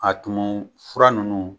A tumu fura ninnu